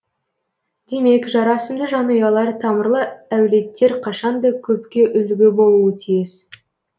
демек жарасымды жанұялар тамырлы әулеттер қашан да көпке үлгі болуы тиіс